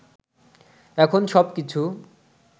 এখন সবকিছু